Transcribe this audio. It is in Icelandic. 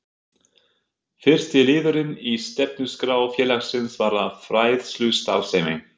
Fyrsti liðurinn í stefnuskrá félagsins varðar fræðslustarfsemi.